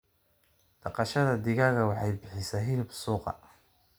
Dhaqashada digaaga waxay bixisaa hilib suuqa.